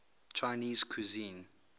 chinese cuisine